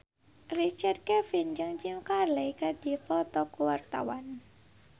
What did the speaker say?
Richard Kevin jeung Jim Carey keur dipoto ku wartawan